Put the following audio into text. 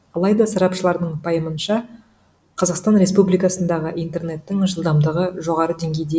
алайда сарапшылардың пайымынша қазақстан республикасындағы интернеттің жылдамдығы жоғары деңгейде